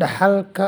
Dhaxalka